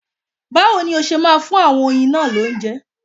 Báwo ni ó ṣe máa fún àwọn oyin náà lóúnjẹ?